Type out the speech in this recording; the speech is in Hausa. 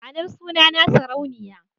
Ma'anar sunana Sarauniya.